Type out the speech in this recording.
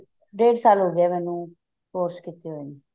ਡੇੜ ਸਾਲ ਹੋਗਿਆ ਮੈਨੂੰ course ਕਿਤੇ ਨੂੰ